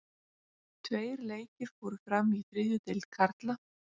Tveir leikir fóru fram í þriðju deild karla.